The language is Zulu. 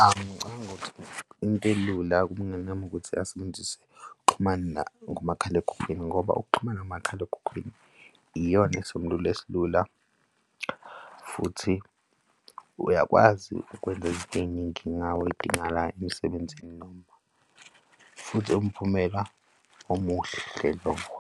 Ngicabangi ukuthi into elula kumngani wami ukuthi asebenzise ukuxhumana ngomakhalekhukhwini ngoba ukuxhumana ngomakhalekhukhwini iyona isisombululo esilula futhi uyakwazi ukwenza izinto ey'ningi ngawo ey'dingakalayo emsebenzini noma futhi umphumela omuhle lo.